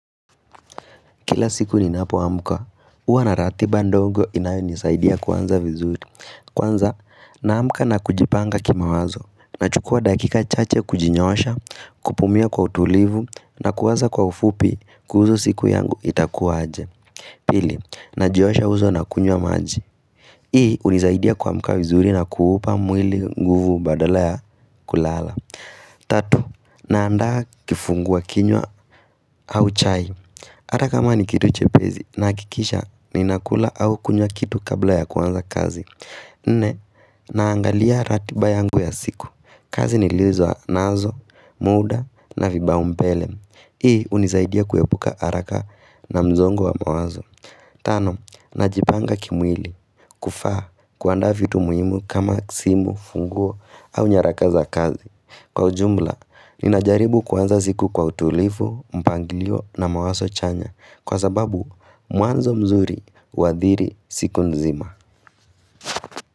Kila siku ni napoamuka, uwa na ratiba ndongo inayo nisaidia kwanza vizuri Kwanza, na amuka na kujipanga kimawazo Nachukua dakika chache kujinyosha, kupumia kwa utulivu na kuwaza kwa ufupi, kuzo siku yangu itakuwa aje Pili, najiosha uso na kunywa maji Hii unisaidia kwa amka vizuri na kuupa mwili nguvu badala ya kulala Tatu, na andaa kifungua kinywa au chai Ata kama ni kitu chepezi na kikisha ni nakula au kunya kitu kabla ya kwanza kazi. Nne, naangalia ratiba yangu ya siku. Kazi niliuzwa nazo, muda na vipaumbele. Hii unizaidia kuyepuka arakama na mzongo wa mawazo. Tano, najipanga kimwili. Kufaa, kuanda vitu muhimu kama simu, funguo au nyaraka za kazi. Kwa ujumba, ninajaribu kwanza siku kwa utulifu, mpangilio na mawazo chanya kwa sababu muanzo mzuri uathiri siku nzima.